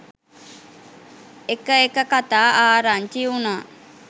එක එක කතා ආරංචි වුණා.